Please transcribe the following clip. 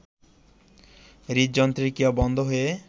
হৃদযন্ত্রের ক্রিয়া বন্ধ হয়ে